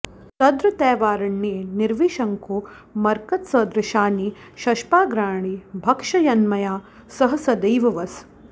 तदत्रैवारण्ये निर्विशङ्को मरकतसदृशानि शष्पाग्राणि भक्षयन्मया सह सदैव वस